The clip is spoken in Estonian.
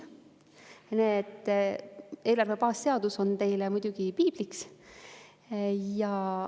Eelarve baasseadus on teile muidugi piibliks.